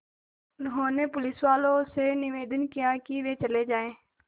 उन्होंने पुलिसवालों से निवेदन किया कि वे चले जाएँ